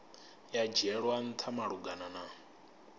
ya dzhielwa ntha malugana na